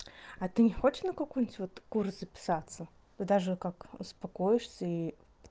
а ты не хочешь на какой-нибудь вот курс записаться ты даже как успокоишься и